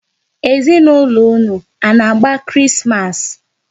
Ezinaụlọ unu a na-agba Krismas?